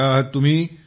तुम्ही कशा आहात